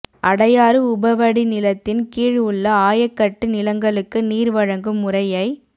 அடையாறு உப வடிநிலத்தின் கீழ் உள்ள ஆயக்கட்டு நிலங்களுக்கு நீர் வழங்கும் முறையை